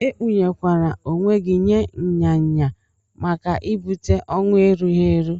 Ekpuye kwana onwe gi nye nya nya maka ibute owụ erughi eru.